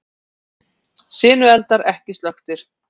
Sinueldar ekki slökktir